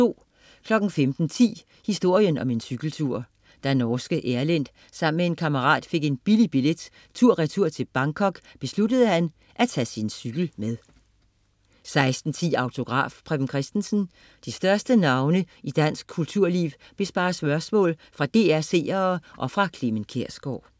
15.10 Historien om en cykeltur. Da norske Erlend sammen med en kammerat fik en billig billet tur-retur til Bangkok, besluttede han at tage sin cykel med 16.10 Autograf: Preben Kristensen. De største navne i dansk kulturliv besvarer spørgsmål fra DR's seere og fra Clement Kjersgaard